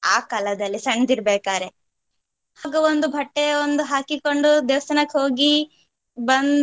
ಆ ಕಾಲದಲ್ಲಿ ಸಣ್ದಿರ್ಬೇಕಾದ್ರೆ ಆಗ ಒಂದು ಬಟ್ಟೆ ಒಂದು ಹಾಕಿಕೊಂಡು ದೇವಸ್ಥಾನಕ್ಕೆ ಹೋಗಿ ಬಂದು.